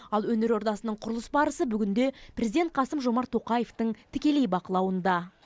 ал өнер ордасының құрылыс барысы бүгінде президент қасым жомарт тоқаевтың тікелей бақылауында